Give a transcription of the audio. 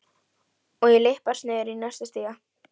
Og ég lyppast niður í næsta stiga.